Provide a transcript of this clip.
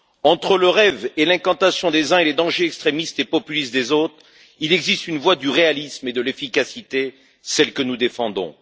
Entre le rêve et l'incantation des uns et les dangers extrémistes et populistes des autres, il existe une voie du réalisme et de l'efficacité, celle que nous défendons.